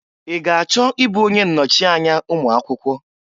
I ga achọ ị bụ onye nnọchịanya ụmụakwụkwọ?